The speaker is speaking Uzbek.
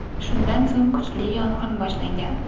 Shundan so‘ng kuchli yong‘in boshlangan.